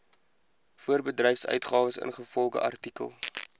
voorbedryfsuitgawes ingevolge artikel